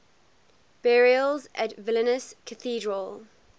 burials at vilnius cathedral